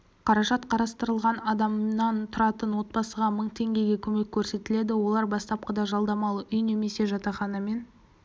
қаражат қарастырылған адамнан тұратын отбасыға мың теңгеге көмек көрсетіледі олар бастапқыда жалдамалы үй немесе жатақханамен